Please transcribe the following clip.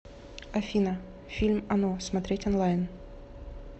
афина фильм оно смотреть онлайн